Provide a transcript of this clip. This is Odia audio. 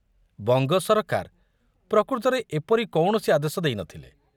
ବଙ୍ଗ ସରକାର ପ୍ରକୃତରେ ଏପରି କୌଣସି ଆଦେଶ ଦେଇ ନଥିଲେ।